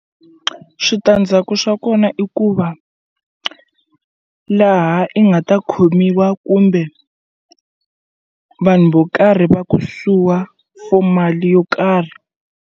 Switandzhaku swa kona i ku va laha i nga ta khomiwa kumbe vanhu vo karhi va ku suwa for mali yo karhi.